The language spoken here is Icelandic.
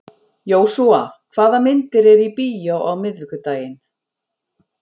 Jósúa, hvaða myndir eru í bíó á miðvikudaginn?